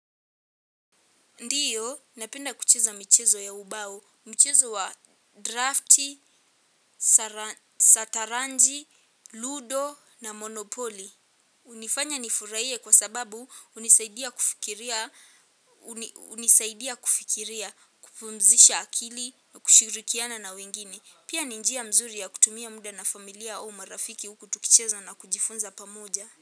Ndiyo, napenda kucheza michezo ya ubao, michezo wa drafti, sataranji, ludo na monopoli. Unifanya nifurahie kwa sababu unisaidia kufikiria, kupumzisha akili na kushirikiana na wengine. Pia ni njia mzuri ya kutumia muda na familia au marafiki huku tukicheza na kujifunza pamoja.